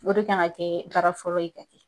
O de kan ka kɛ baara fɔlɔ ye ka kɛ .